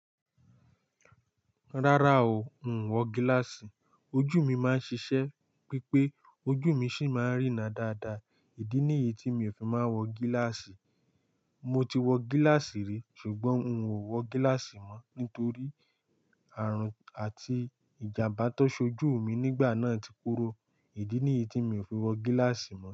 Rárá o, n ò wọ gíláàsì. Ojú mi máa ń ṣiṣẹ́ pipé, ojú mi sì máa ń rína dáadáa. Ìdí nìyí tí mi ò fi máa ń wọ gíláàsì. Mo ti wọ gíláàsì rí ṣùgbọ́n n ò wọ gíláàsì mọ́ nítorí àrùn àti ìjàmbá tó ṣojú mi nígbà náà ti kúrò. Èyí ni èyí tí mi ò fi wọ gíláàsì mọ́